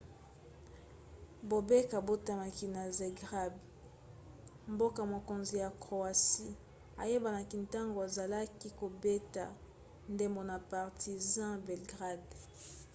bobek abotamaki na zagreb mboka-mokonzi ya croatie ayebanaki ntango azalaki kobeta ndembo na partizan belgrade